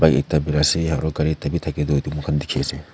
ye ekta birai ase aru gari ekta bhi thake tu etu moikhan dikhi ase.